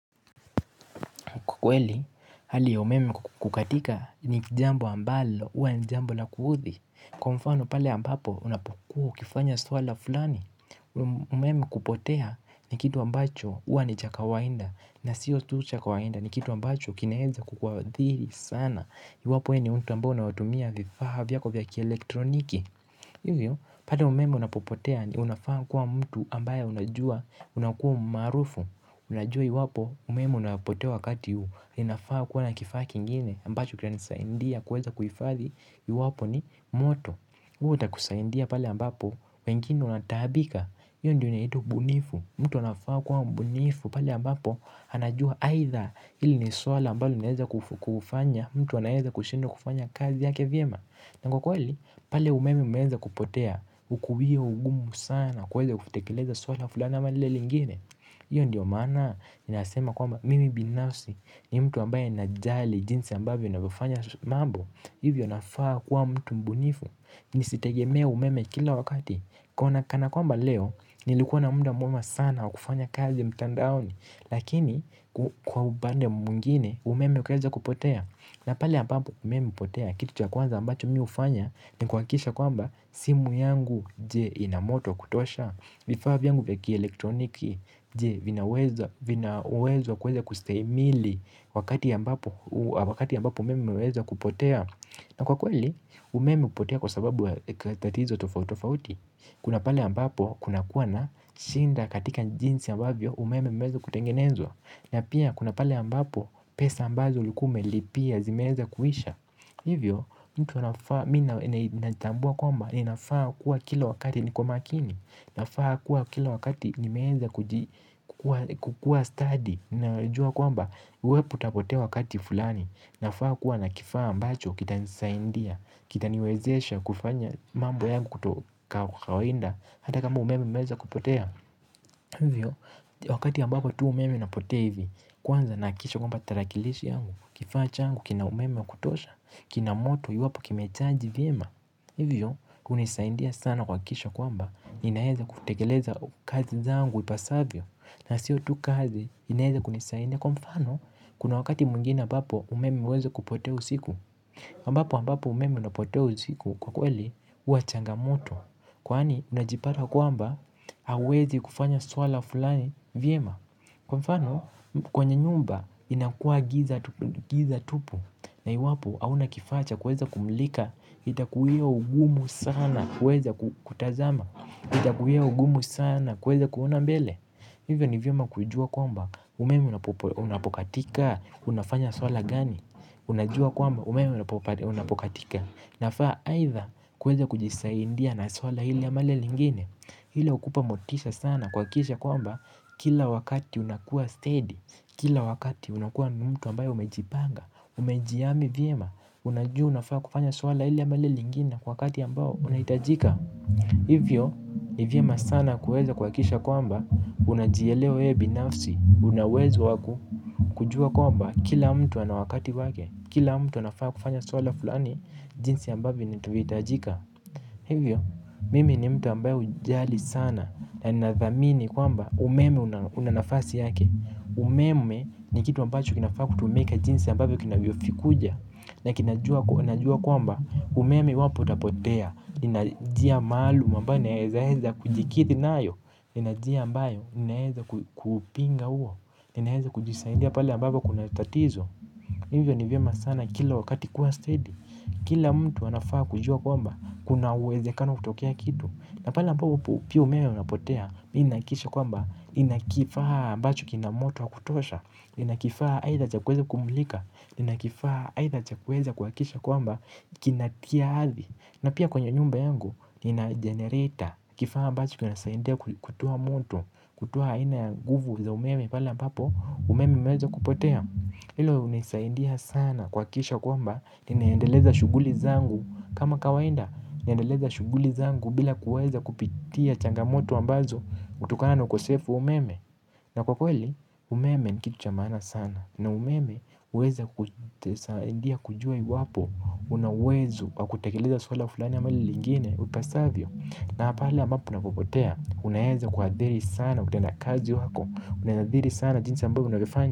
Kwa kweli, hali ya umeme kukatika, ni jambo ambalo huwa ni jambo la kuudhi. Kwa mfano pale ambapo, unapokuwa ukifanya swala fulani. Umeme kupotea, ni kitu ambacho, huwa ni cha kawainda. Na siyo tu cha kawaida, ni kitu ambacho kinaeza kukuhadhiri sana. Iwapo wewe ni mtu ambao unoatumia vifaa vyako vya kielektroniki. Hivyo, pale umeme unapopotea ndio unafaa kuwa mtu ambaye unajua. Unakua maarufu. Unajua iwapo umeme unapotea wakati huu, ninafaa kuwa na kifaa kingine ambacho kinanisaidia kuweza kuifadhi iwapo ni moto, huo utakusaidia pale ambapo wengine wanataabika. Hio ndio inaitwa ubunifu. Mtu anafaa kuwa mbunifu pale ambapo, anajua aitha hili ni swala ambalo linaeneza kufanya mtu anaeza kushindwa kufanya kazi yake vyema. Na kwa kweli, pale umeme umeeza kupotea, hukuwia ugumu sana kuweza kutekeleza swala fulani ama lile lingine. Hio ndio maana, ninasema kwamba mimi binasi ni mtu ambaye najali jinsi ambavyo ninavyofanya mambo. Hivyo nafaa kuwa mtu mbunifu, nisitegemee umeme kila wakati. Kana kwamba leo, nilikuwa na muda mwema sana kufanya kazi mtandaoni. Lakini, kwa upande mwingine, umeme ukaeza kupotea. Na pale ambapo umeme hupotea, kitu cha kwanza ambacho mimi hufanya ni kuhakisha kwamba, simu yangu, je ina moto wa kutosha? Vifaa vyangu vya kielektroniki, je, vina uwezo wa kuweza kustahimili wakati ambapo umeme umeweza kupotea? Na kwa kweli umeme hupotea kwa sababu ya tatizo tofauti tofauti. Kuna pale ambapo kuna kuwa na shida katika jinsi ambavyo umeme umeweza kutengenezwa, na pia kuna pale ambapo pesa ambazo ulikuwa umelipia zimeweza kuisha. Hivyo, mtu anafaa mimi natambua kwamba inafaa kuwa kila wakati niko makini. Nafaa kuwa kila wakati nimeweza kukua stadi. Najua kwamba, uwepo utapotea wakati fulani. Nafaa kuwa na kifaa ambacho kitanisaidia, kitaniwezesha kufanya mambo yangu tu kawaida. Hata kama umeme umeweza kupotea, hivyo, wakati ambapo tu umeme inapotea hivi, kwanza nahakikisha kwamba tarakilishi yangu, kifaa changu kina umeme wa kutosha. Kina moto iwapo kimechaji vyema. Hivyo, hunisaidia sana kuhakikisha kwamba, ninaeza kutekeleza kazi zangu ipasavyo. Na sio tu kazi, inaeza kunisaidia. Kwa mfano, kuna wakati mwingine ambapo umeme umeweza kupotea usiku. Ambapo umeme unapotea usiku, kwa kweli huwa changamoto. Kwani unajipata kwamba, hauwezi kufanya swala fulani vyema. Kwa mfano, kwenye nyumba inakua giza tupu, na iwapo hauna kifaa cha kuweza kumulika, itakuwia ugumu sana kuweza kutazama. Itakuwia ugumu sana kuweza kuona mbele. Hivyo ni vyema kujua kwamba, umeme unapokatika, unafanya swala gani? Unajua kwamba umeme unapokatika nafaa aidha kuweza kujisaidia na swala hili ama lile lingine. Ile hukupa motisha sana kuhakikisha kwamba, kila wakati unakua stadi. Kila wakati unakua mtu ambaye umejipanga, umejihami vyema. Unajua unafaa kufanya swala hili ama lile lingine, kwa wakati ambao unahitajika. Hivyo, ni vyema sana kuweza kuhakikisha kwamba, unajielewa wewe binafsi. Una uwezo wa kujua kwamba, kila mtu ana wakati wake, kila mtu anafaa kufanya swala fulani, jinsi ambavyo inahitajika. Hivyo, mimi ni mtu ambaye hujali sana. Na ninathamini kwamba, umeme una nafasi yake. Umeme ni kitu ambacho kinafaa kutumika jinsi ambavyo kinavyo kuja. Na unajua kwamba, umeme iwapo utapotea, nina njia maalum ambayo naeza kujikithi nayo. Nina njia ambayo naeza kupinga huo, ninaeza kujisaidia pala ambapo kuna tatizo. Hivyo ni vyema sana kila wakati kuwa stadi. Kila mtu anafaa kujua kwamba, kuna uwezekano kutokea kitu. Na pale ambapo pia umeme unapotea, ninahakikisha kwamba, nina kifaa ambacho kina moto wa kutosha. Nina kifaa aidha cha kuweza kumulika, nina kifaa aidha cha kuweza kuhakikisha kwamba kinatia hadhi. Na pia kwenye nyumba yangu, nina jenereta. Kifaa ambacho kinanisaidia kutoa moto. Kutoa ina ya nguvu za umeme pale ambapo umeme umeweza kupotea. Hilo hunisaindia sana kuhakikisha kwamba, ninaendeleza shughuli zangu kama kawaida. Ninaendeleza shughuli zangu bila kuweza kupitia changamoto ambazo, hutokana na ukosefu wa umeme. Na kwa kweli, umeme ni kitu cha maana sana. Na umeme huweza kusaidia kujua iwapo, una uwezo wa kutekeleza swala fulani ama lile lingine upasavyo. Na pale ambapo unapopotea, unaeza kuadhiri sana utenda kazi wako. Unaadhiri sana jinsi ambavyo unavyofanya.